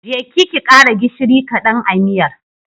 Je ki ki ƙara gishiri ƙadan a miyar.